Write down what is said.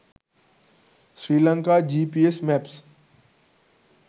srilanka gps maps